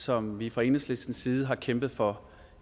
som vi fra enhedslistens side har kæmpet for